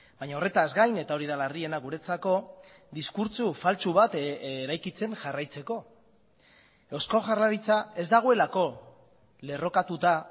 baina horretaz gain eta hori da larriena guretzako diskurtso faltsu bat eraikitzen jarraitzeko eusko jaurlaritza ez dagoelako lerrokatuta